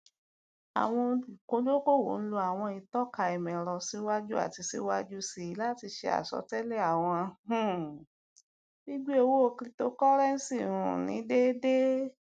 awọn oludokoowo n lo awọn itọka imọẹrọ siwaju ati siwaju sii lati ṣe asọtẹlẹ awọn um gbigbe owo cryptocurrency um ni deede